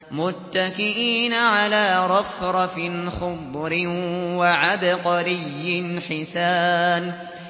مُتَّكِئِينَ عَلَىٰ رَفْرَفٍ خُضْرٍ وَعَبْقَرِيٍّ حِسَانٍ